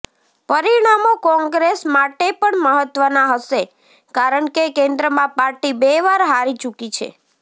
પરિણામો કોંગ્રેસ માટે પણ મહત્વના હશે કારણકે કેન્દ્રમાં પાર્ટી બે વાર હારી ચૂકી છે